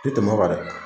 Tɛ tɛmɛ o kan dɛ